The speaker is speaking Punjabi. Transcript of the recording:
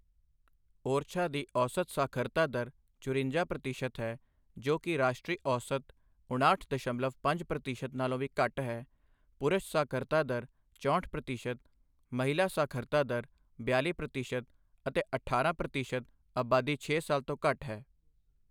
ਓਰਛਾ ਦੀ ਔਸਤ ਸਾਖਰਤਾ ਦਰ ਚੁਰੰਜਾ ਪ੍ਰਤੀਸ਼ਤ ਹੈ, ਜੋ ਕੀ ਰਾਸ਼ਟਰੀ ਔਸਤ ਉਣਾਹਟ ਦਸ਼ਮਲਨ ਪੰਜ ਪ੍ਰਤੀਸ਼ਤ ਨਾਲੋਂ ਵੀ ਘੱਟ ਹੈ, ਪੁਰਸ਼ ਸਾਖਰਤਾ ਦਰ ਚੌਹਟ ਪ੍ਰਤੀਸ਼ਤ, ਮਹਿਲਾ ਸਾਖਰਤਾ ਦਰ ਬਿਆਲ਼ੀ ਪ੍ਰਤੀਸ਼ਤ ਅਤੇ ਅਠਾਰਾਂ ਪ੍ਰਤੀਸ਼ਤ ਆਬਾਦੀ ਛੇ ਸਾਲ ਤੋਂ ਘੱਟ ਹੈ।